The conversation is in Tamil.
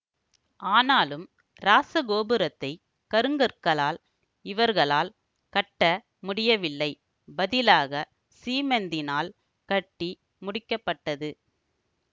ஆனாலும் இராசகோபுரத்தை கருங்கற்களால் இவர்களால் கட்ட முடியவில்லை பதிலாக சீமெந்தினால் கட்டி முடிக்க பட்டது